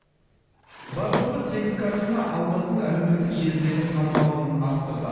бар жоғы сегіз картина алмаздың әлеуметтік желідегі танымалдығын арттырды